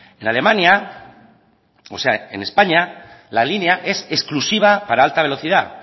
en españa la línea es exclusiva para la alta velocidad